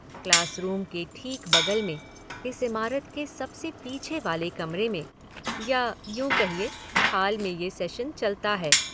Class room के ठीक बगल में, इस इमारत के सबसे पीछे वाले कमरे में या यूँ कहिए हाल में ये सेशन चलता है।